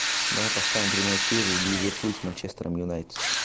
давай поставим прямой эфир ливерпуль с манчестером юнайтед